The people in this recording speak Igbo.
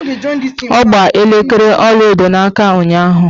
Ọ gba elekere ọlaedo n'aka ụnyaahụ.